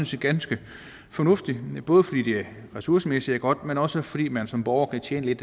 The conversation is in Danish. set ganske fornuftigt både fordi det ressourcemæssigt er godt men også fordi man som borger kan tjene lidt